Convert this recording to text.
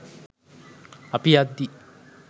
අපි යද්දි